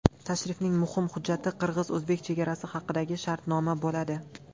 Tashrifning muhim hujjati qirg‘iz-o‘zbek chegarasi haqidagi shartnoma bo‘ladi.